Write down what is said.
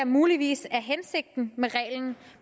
muligvis er hensigten med reglen